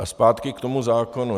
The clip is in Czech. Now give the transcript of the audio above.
A zpátky k tomu zákonu.